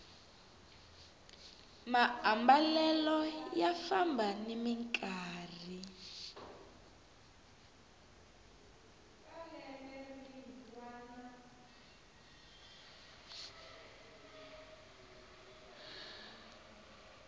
maambalelo ya famba nimi nkarhi